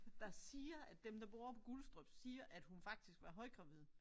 Der siger at dem der bor på Gullestrups siger at hun faktisk var højgravid